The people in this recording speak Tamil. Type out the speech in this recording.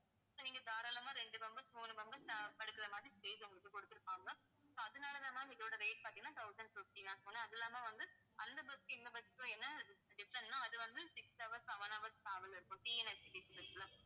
நீங்க தாராளமா ரெண்டு members மூணு members அஹ் படுக்கற மாதிரி stage உங்களுக்கு கொடுத்திருப்பாங்க. so அதனாலதான் ma'am இதோட rate பார்த்தீங்கன்னா, thousand fifty ma'am அது இல்லாம வந்து அந்த bus க்கும் இந்த bus க்கும் என்ன different ன்னா, அது வந்து, six hours seven hours travel இருக்கும். TNSTC bus ல